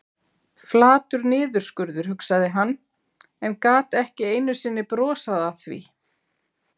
Flatur niðurskurður, hugsaði hann, en gat ekki einu sinni brosað að því.